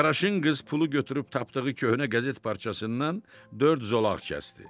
Qaraşınqız pulu götürüb tapdığı köhnə qəzet parçasından dörd zolaq kəsdi.